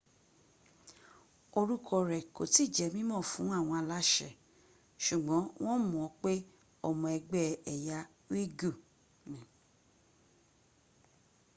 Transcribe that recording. orúkọ rl kò tí jẹ́ mímọ̀ fún àwọn aláṣẹ ṣùgbọ́n wọ́n mọ̀ pé ọmọ ẹgbẹ́ ẹ̀yà uighur